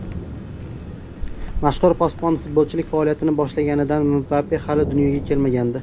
Mashhur posbon futbolchilik faoliyatini boshlaganida Mbappe hali dunyoga kelmagandi.